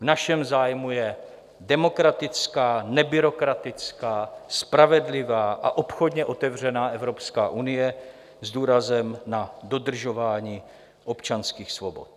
V našem zájmu je demokratická, nebyrokratická, spravedlivá a obchodně otevřená Evropská unie s důrazem na dodržování občanských svobod.